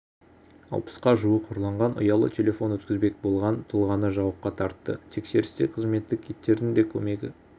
алпысқа жуық ұрланған ұялы телефон өткізбек болған тұлғаны жауапқа тартты тексерісте қызметтік иттердің де көмегі